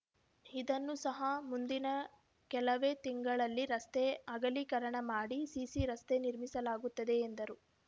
ಇದನ್ನೂ ಸಹ ಮುಂದಿನ ಕೆಲವೇ ತಿಂಗಳಲ್ಲಿ ರಸ್ತೆ ಅಗಲೀಕರಣ ಮಾಡಿ ಸಿಸಿ ರಸ್ತೆ ನಿರ್ಮಿಸಲಾಗುತ್ತದೆ ಎಂದರು